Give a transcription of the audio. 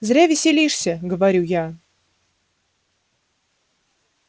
зря веселишься говорю я